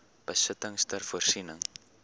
besittings ter voorsiening